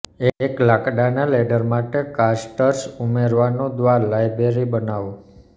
એક લાકડાના લેડર માટે કાસ્ટર્સ ઉમેરવાનું દ્વારા લાઇબ્રેરી બનાવો